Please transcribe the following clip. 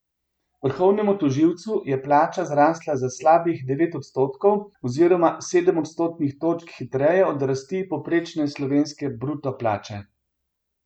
Vrhovnemu tožilcu je plača zrasla za slabih devet odstotkov oziroma sedem odstotnih točk hitreje od rasti povprečne slovenske bruto plače.